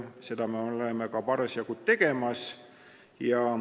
Seda me oleme ka parasjagu tegemas.